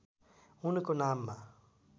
उनको नाममा